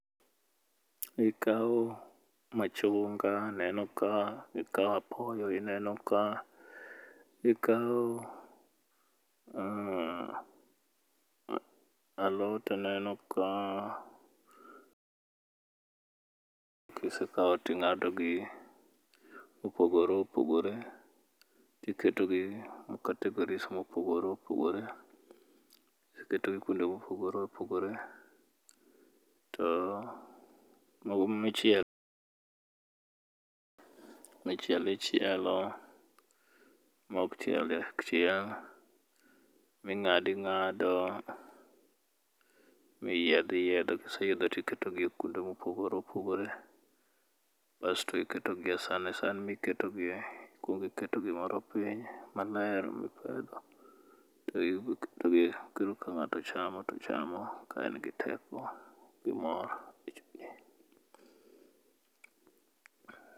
ikawo machunga neneo ka ikawo apoyo ineno ka ikawo alot aneno ka ,kisekawo ting'ado gi mopogore opogore tiketo gi e categories mopogore opogore ,kiseketo gi kuonde mopogore opogore to michielo ichielo mok chiel ok chiel ,ming'ado ingado, miyidho iyiedho kiseyiedho tiketo gi kuonde mopogore opogore ,basto iketo gi e san ,e san miketo gie, ikuongi keto gimoro piny maler mipedho to iketo gie koro ka ng'ato chamo to chamo ka en gi teko gi mor